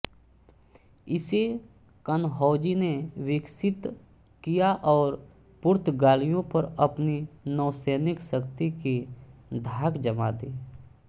इसे कान्होजी ने विकसित किया और पुर्तगालियों पर अपनी नौसैनिक शक्ति की धाक जमा दी